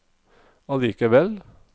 allikevel